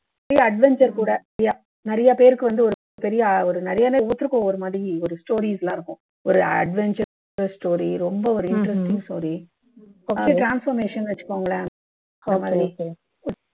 adventure கூட நிறைய பேருக்கு வந்து ஒரு ஒரு பெரிய நிறையவே ஒரு மாதிரி ஒரு stories எல்லாம் இருக்கும் ஒரு adventure plus story ரொம்ப ஒரு interesting story first transformation ன்னு வச்சுக்கோங்களேன்